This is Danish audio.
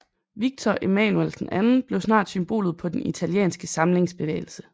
Victor Emmanuel II blev snart symbolet på den italienske samlingsbevægelse